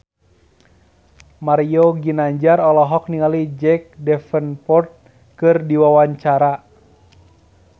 Mario Ginanjar olohok ningali Jack Davenport keur diwawancara